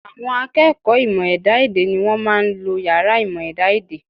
À̀wọn akẹ́kọ̀ọ́ ìmọ̀ ẹ̀dá-èdè ni wọ́n máa ń lo yàrá ìmọ̀ ẹ̀dá-èdè